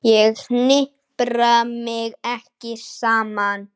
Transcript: Ég hnipra mig ekki saman.